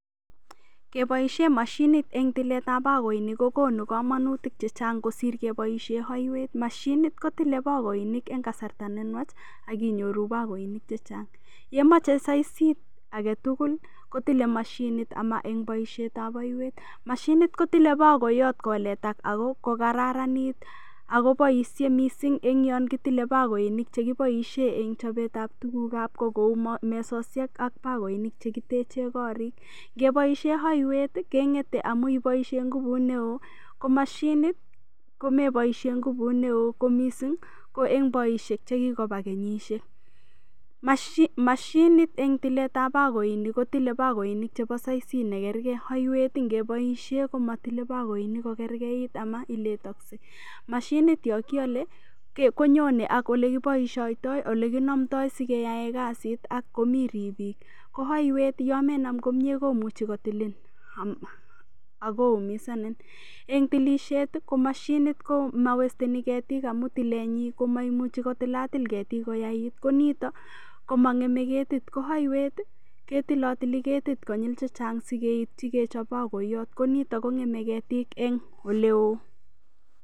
Keboishe mashinit eng' tiletab bakoinik kokonu komonutik chechang' kosir keboishe oiwet mashinit kotilei bakoinik eng' kasarta nenwach akinyoru bakoinik chechang' yemoche saisit agetugul kotilei mashinit ama eng' boishetab oiwet mashinit kotilei bakoiyot koletak ako kokararanit akoboishe mising' eng' yon kotilei bakoinik chekiboishe eng' chobetab tugukab ko kou mesoshek ak bakoinik chekiteche korik ngeboishe oiwet keng'etei amu iboishe ngubut neo ko mashinit komeboishe ngubut neo ko mising' ko eng' boishet chekikoba kenyishek mashinit eng' tiletab bakoinik kotilei bakoinik chebo saisit nekergei oiwet ngiboishe komatilei bakoinik kokergeit ama iletoshei mashinit yo kikolei konyonei ak ole kiboishoitoi ole kinamtoi sikeyae kasit akomi ribik ko oiwet yomenam komyee komuch I kotilin akoumisanin eng' tilishet ko mashinit komawesteni ketik amu tilenyi komaimuchei kotilatil ketik koyait konito komang'emei ketit ko aiwet ketilotili ketit konyil chechang' sikeityi kechop bakoiyot konito kong'emei ketik eng' oleo